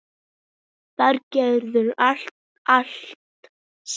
Þar gerðu allir allt saman.